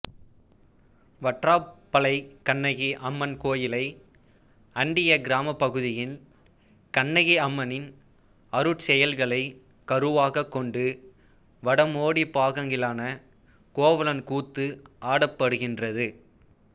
வற்றாப்பளைக் கண்ணகி அம்மன் கோயிலை அண்டிய கிராமப்பகுதியில் கண்ணகி அம்மனின் அருட்செயல்களைக் கருவாகக் கொண்டு வடமோடிப்பாங்கிலான கோவலன் கூத்து ஆடப்படுகின்றது